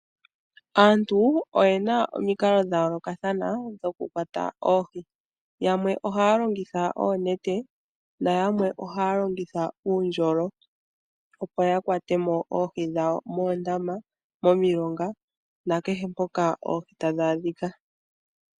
Aantu ohaalongitha omikalo dhayolokathana dhokukwata oohi yamwe ohaalongitha oonete nayamwe ohaalongitha uundjolo opo yakwatemo oohi dhawo moondama, momilonga nekehe mpoka oohi tadhaadhika.